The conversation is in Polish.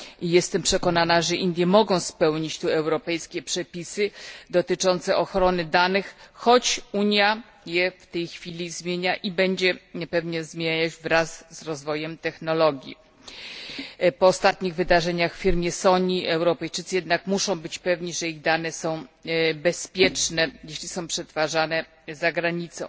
Jestem przekonana, że Indie mogą spełnić tu europejskie przepisy dotyczące ochrony danych, choć Unia je w tej chwili zmienia i będzie je pewnie zmieniać wraz z rozwojem technologii. Po ostatnich wydarzeniach w firmie SONY Europejczycy jednak muszą być pewni, że ich dane są bezpieczne, jeśli są przetwarzane zagranicą.